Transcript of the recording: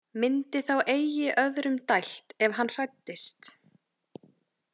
Myndi þá eigi öðrum dælt ef hann hræddist.